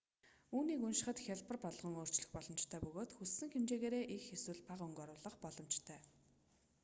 үүнийг уншихад хялбар болгон өөрчлөх боломжтой бөгөөд хүссэн хэмжээгээрээ их эсвэл багахан өнгө оруулах боломжтой